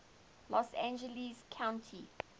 los angeles county